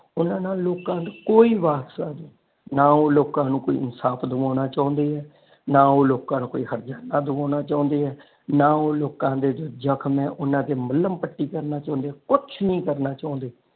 ਓਹਨਾ ਨੂੰ ਲੋਕਾਂ ਦਾ ਕੋਈ ਵਾਸਤਾ ਨਹੀ ਨਾ ਉਹ ਕੋਈ ਲੋਕਾਂ ਨੂੰ ਇਨਸਾਫ ਦਵਾਉਣਾ ਚਾਹੁੰਦੇ ਏ ਨਾ ਉਹ ਲੋਕਾਂ ਨੂੰ ਕੋਈ ਹਰਜਾਨਾ ਦਵਾਉਣਾ ਚਾਹੁੰਦੇ ਏ ਨਾ ਉਹ ਲੋਕਾਂ ਦੇ ਜਖ਼ਮ ਤੇ ਮਲਮ ਪੱਟੀ ਕਰਨਾ ਚਾਹੁੰਦੇ ਏ ਕੁੱਛ ਨਹੀ ਕਰਨਾ ਚਾਹੁੰਦੇ।